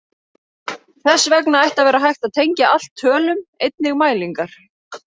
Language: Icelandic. Þess vegna ætti að vera hægt að tengja allt tölum, einnig mælingar.